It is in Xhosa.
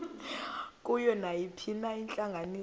kuyo nayiphina intlanganiso